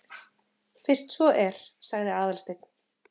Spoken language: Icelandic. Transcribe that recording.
Fyrst svo er. sagði Aðalsteinn.